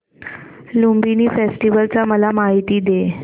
Lumbini festival ची मला माहिती दे